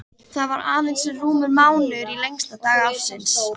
Það var aðeins rúmur mánuður í lengsta dag ársins.